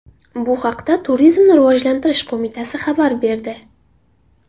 Bu haqda Turizmni rivojlantirish qo‘mitasi xabar berdi .